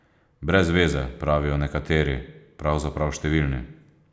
Brez veze, pravijo nekateri, pravzaprav številni.